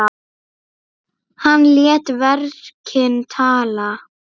Hann lét verkin tala.